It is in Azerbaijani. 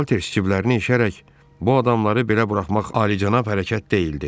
Salter ciblərini eşərək: Bu adamları belə buraxmaq alicənab hərəkət deyil, dedi.